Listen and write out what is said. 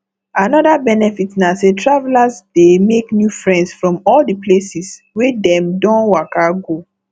another benefit na say travelers dey make new friends from all the places wey dem don waka go